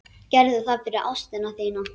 Gerðu það fyrir ástina þína.